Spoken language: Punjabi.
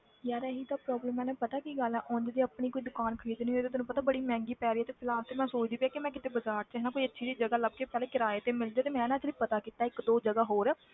ਯਾਰ ਇਹੀ ਤਾਂ problem ਤੈਨੂੰ ਪਤਾ ਕੀ ਗੱਲ ਹੈ ਉਞ ਤੇ ਆਪਣੀ ਕੋਈ ਦੁਕਾਨ ਖ਼ਰੀਦਣੀ ਹੋਏ ਤੇ ਤੈਨੂੰ ਪਤਾ ਬੜੀ ਮਹਿੰਗੀ ਪੈ ਰਹੀ ਹੈ ਤੇ ਫਿਲਹਾਲ ਤੇ ਮੈਂ ਸੋਚਦੀ ਪਈ ਹਾਂ ਕਿ ਮੈਂ ਕਿਤੇ ਬਾਜ਼ਾਰ 'ਚ ਨਾ ਕੋਈ ਅੱਛੀ ਜਿਹੀ ਜਗ੍ਹਾ ਲੱਭ ਕੇ ਪਹਿਲੇ ਕਿਰਾਏ ਤੇ ਮਿਲ ਜਾਏ ਤੇ ਮੈਂ ਨਾ actually ਪਤਾ ਕੀਤਾ ਇੱਕ ਦੋ ਜਗ੍ਹਾ ਹੋਰ,